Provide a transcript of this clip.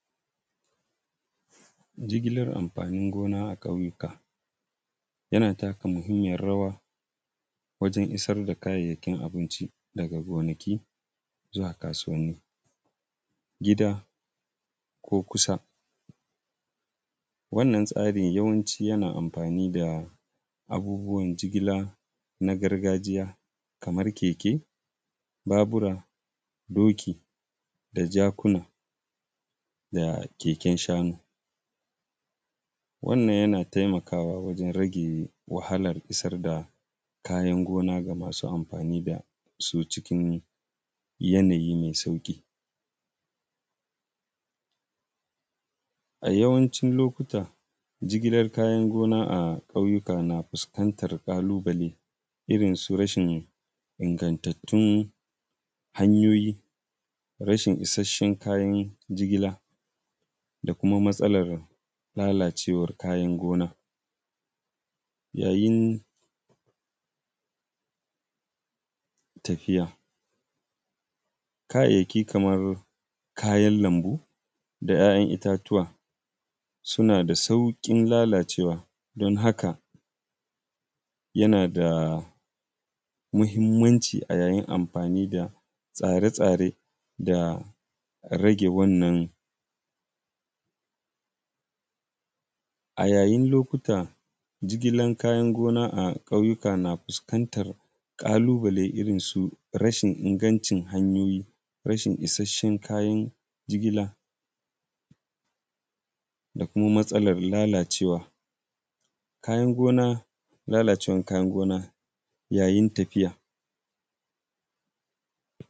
Jigilar amfanin gona a ƙauyuka yana taka muhimmiyan rawa wajen isar da kayayyakin abinci daga gonaki zuwa kasuwanni gida ko kusa. Wannan tsari yana amfani da abubuwan jigila na garagajiya kamar keke, Babura, doki da jakuna da keken shanu, wannan yana taimakawa wajen rage wahalan isar da kayayyakin gona zuwa ga masu amfani da su cikin yanayi mai sauƙi. A yawancin lokuta, jigilar kayan gona a ƙauyuka na fuskantan ƙalubale irin su rashin ingantattun hanyoyi da rashi isasshen kayan jigila da kuma matsalar lalacewan kayan gona yayin tafiya. Kayayyaki kaman kayan lambu da ‘ya’yan itatuwa suna da saurin lalacewa don haka yana da muhimmanci yayin amfani da tsare tsare da rage wannan, a yayin lokuta jigila kayan gona a ƙauyuka na fuskantar ƙalubale irin su rashin ingancin hanyoyi a yayin jigila da lalacewar kayan gona yayin tafiya.